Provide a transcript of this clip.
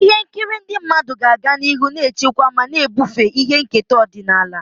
Ihe nkiri ndị mmadụ ga-aga n'ihu na-echekwa ma na-ebufe ihe nketa ọdịnala.